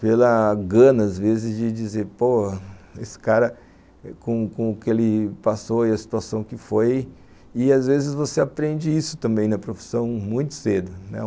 Pela gana, às vezes, de dizer, pô, esse cara, com com o que ele passou e a situação que foi, e às vezes você aprende isso também na profissão muito cedo, né?